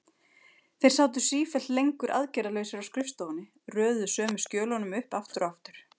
Þeir sátu sífellt lengur aðgerðarlausir á skrifstofunni, röðuðu sömu skjölunum upp aftur og aftur.